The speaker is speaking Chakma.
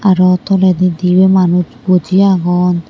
aro toledi dibey manuj boji agon.